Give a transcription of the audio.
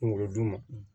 Kunkolo duman